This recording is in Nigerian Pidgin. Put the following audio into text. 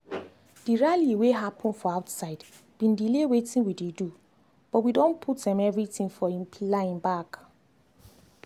the rally wey happen for outside been delay weitin we dey do but we don put um everything for um line back